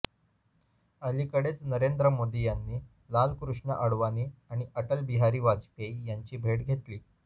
अलीकडेच नरेंद्र मोदी यांनी लालकृष्ण अडवाणी आणि अटलबिहारी वाजपेयी यांची भेट घेतली